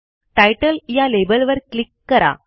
तितले या लेबलवर क्लिक करा